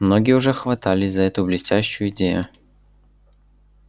многие уже хватались за эту блестящую идею